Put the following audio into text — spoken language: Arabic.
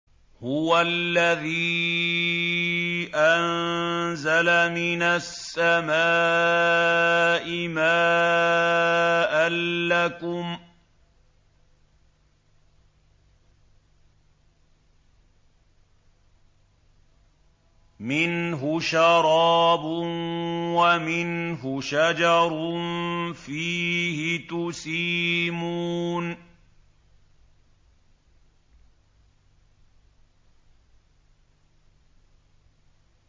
هُوَ الَّذِي أَنزَلَ مِنَ السَّمَاءِ مَاءً ۖ لَّكُم مِّنْهُ شَرَابٌ وَمِنْهُ شَجَرٌ فِيهِ تُسِيمُونَ